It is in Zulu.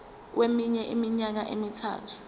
kweminye iminyaka emithathu